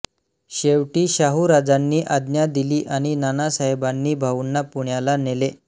शेवटी शाहूराजांनी आज्ञा दिली आणि नानासाहेबांनी भाऊंना पुण्याला नेले